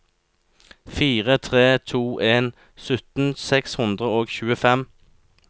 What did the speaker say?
fire tre to en sytten seks hundre og tjuefem